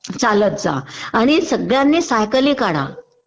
चालत जा आणि सगळ्यांनी सायकली काढा